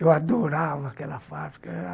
Eu adorava aquela fábrica.